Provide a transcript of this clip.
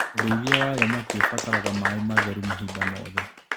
ũrĩithia wa thamaki ũrabatara maĩ matheru mahinda mothe.